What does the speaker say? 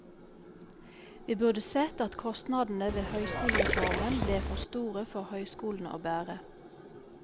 Vi burde sett at kostnadene ved høyskolereformen ble for store for høyskolene å bære.